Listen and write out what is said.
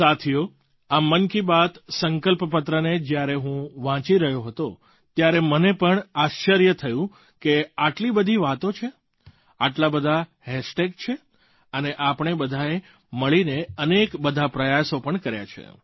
સાથીઓ આ મન કી બાત સંકલ્પપત્રને જ્યારે હું વાંચી રહ્યો હતો ત્યારે મને પણ આશ્ચર્ય થયું કે આટલી બધી વાતો છે આટલા બધા હૅશટૅગ છે અને આપણે બધાંએ મળીને અનેક બધા પ્રયાસ પણ કર્યા છે